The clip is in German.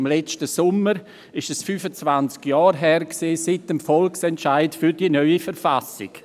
Im letzten Sommer war es 25 Jahre her seit dem Volksentscheid für die neue Verfassung.